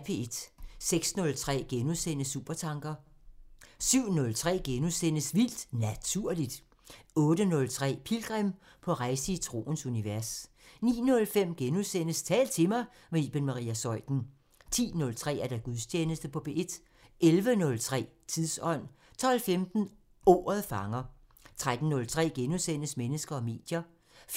06:03: Supertanker * 07:03: Vildt Naturligt * 08:03: Pilgrim – på rejse i troens univers 09:05: Tal til mig – med Iben Maria Zeuthen * 10:03: Gudstjeneste på P1 11:03: Tidsånd 12:15: Ordet fanger 13:03: Mennesker og medier *